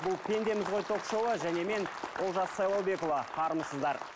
бұл пендеміз ғой ток шоуы және мен олжас сайлаубекұлы армысыздар